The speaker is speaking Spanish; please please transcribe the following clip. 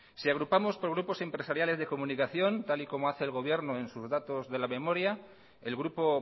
si agrupamos por grupos empresariales de comunicación tal y como hace el gobierno en sus datos de la memoria el grupo